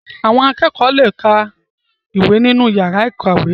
Àwọn akẹ́kọ̀ọ́ le ka ìwé nínú yàrá ìkàwé.